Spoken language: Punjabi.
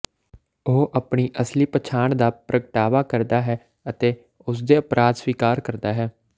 ਉਹ ਆਪਣੀ ਅਸਲੀ ਪਛਾਣ ਦਾ ਪ੍ਰਗਟਾਵਾ ਕਰਦਾ ਹੈ ਅਤੇ ਉਸਦੇ ਅਪਰਾਧ ਸਵੀਕਾਰ ਕਰਦਾ ਹੈ